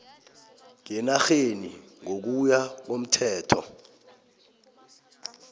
ngenarheni ngokuya komthetho